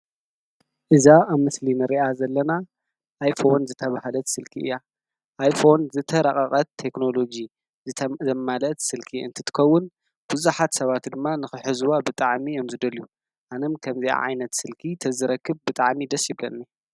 እዛ ኣብ ምስሊ እንሪኣ ዘለና ኣይፎን ዝተባሃለት ስልኪ እያ። ኣይፎን ዝተራቀቀት ቴክኖሎጂ ዘማለአት ስልኪ እንትትከውን ብዛሓት ሰባት ድማ ንክሕዝዋ ብጣዕሚ እዮም ዝደልዩ። ኣነም እውን ከምዚኣ ዓይነት ስልኪ እንተዝረክብ ብጣዕሚ ደስ ይብለኒ ።